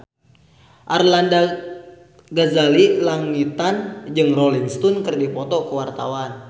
Arlanda Ghazali Langitan jeung Rolling Stone keur dipoto ku wartawan